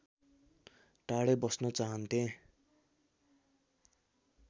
टाढै बस्न चाहन्थे